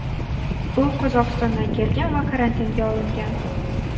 U Qozog‘istondan kelgan va karantinga olingan.